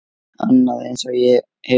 Annað eins hefur gerst!